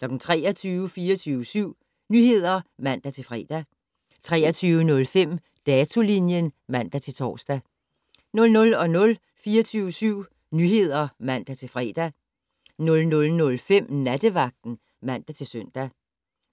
23:00: 24syv Nyheder (man-fre) 23:05: Datolinjen (man-tor) 00:00: 24syv Nyheder (man-fre) 00:05: Nattevagten (man-søn)